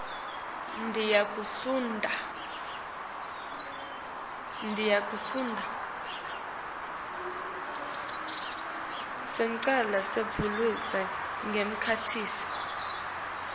sicelo sekubhaliswa njengemkhiciti